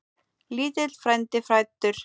Lítill frændi fæddur.